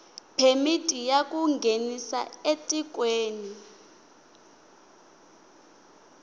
phemiti ya ku nghenisa etikweni